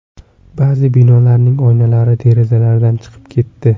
Ba’zi binolarning oynalari derazalardan chiqib ketdi.